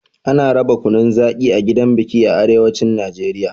Ana raba kunun zaƙi a gidan biki a arewacin Najeriya.